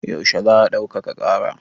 Yaushe za a ɗaukaka ƙara?